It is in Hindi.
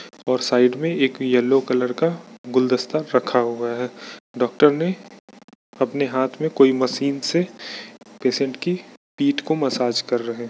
--ओर साइड में एक येलो कलर का गुलदस्ता रखा हुआ है डॉक्टर ने अपने हाँथ में कोई मशीन से पेशेंट की पीठ को मसाज कर रहे है।